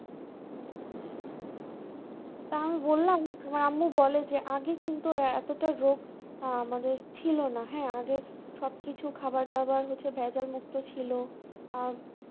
তাও আমি বললাম এবার আম্মু বোলো যে আগে কিন্তু এতটা রোগ আহ আমাদের ছিলোনা হ্যাঁ আগে সবকিছু খাবার দাবার হচ্ছে ভেজাল মুক্ত ছিল আর